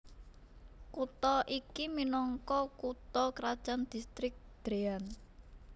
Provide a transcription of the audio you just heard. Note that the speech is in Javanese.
Kutha iki minangka kutha krajan Distrik Dréan